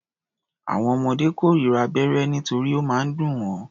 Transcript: Àwọn ọmọdé kórira abẹ́rẹ́ nítorí ó máa ń dùn wọ́.